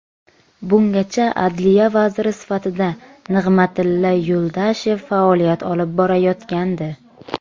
Bungacha Adliya vaziri sifatida Nig‘matilla Yuldashev faoliyat olib borayotgandi.